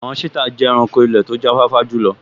Àwọn sítà jẹ́ ẹranko ilẹ̀ tó jáfáfá jùlọ